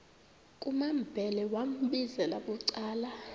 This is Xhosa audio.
kumambhele wambizela bucala